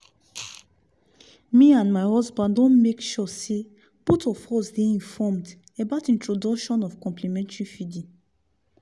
me and my husband don make suresey both of us dey informed about introduction of complementary feeding